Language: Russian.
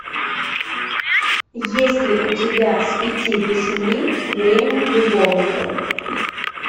есть ли у тебя с пяти до семи время любовников